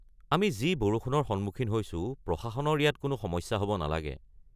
আমি যি বৰষুণৰ সন্মুখীন হৈছো, প্ৰশাসনৰ ইয়াত কোনো সমস্যা হ'ব নালাগে।